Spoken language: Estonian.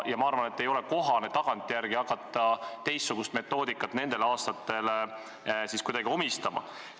Ma arvan, et ei ole kohane hakata tagantjärele teistsugust metoodikat nendele aastatele omistama.